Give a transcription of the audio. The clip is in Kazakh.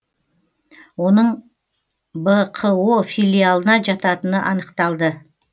оның бқо филиалына жататыны анықталды